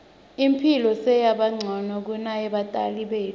imphilo seyabancono kuneyebatali betfu